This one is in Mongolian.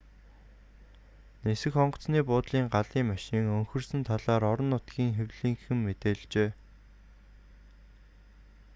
нисэх онгоцны буудлын галын машин өнхөрсөн талаар орон нутгийн хэвлэлийнхэн мэдээлжээ